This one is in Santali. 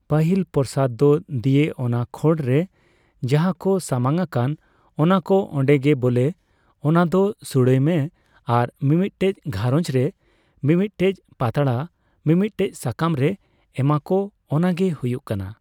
ᱯᱟᱹᱦᱤᱞ ᱯᱨᱚᱥᱟᱫ ᱫᱚ ᱫᱤᱭᱮ ᱚᱱᱟ ᱠᱷᱚᱲᱨᱮ ᱡᱟᱦᱟᱸ ᱠᱚ ᱥᱟᱢᱟᱝ ᱟᱠᱟᱱ ᱚᱱᱟ ᱠᱚ ᱚᱱᱰᱮ ᱜᱮ ᱵᱚᱞᱮ ᱚᱱᱟ ᱫᱚ ᱥᱩᱲᱟᱹᱭ ᱢᱮ ᱟᱨ ᱢᱤᱢᱤᱫᱴᱮᱡ ᱜᱷᱟᱸᱨᱚᱧᱡᱽ ᱨᱮ ᱢᱤᱢᱤᱫ ᱴᱮᱡ ᱯᱟᱛᱲᱟ ᱢᱤᱼᱢᱤᱫ ᱥᱟᱠᱟᱢ ᱨᱮ ᱮᱢᱟ ᱠᱚ ᱚᱱᱟᱜᱮ ᱦᱩᱭᱩᱜ ᱠᱟᱱᱟ ᱾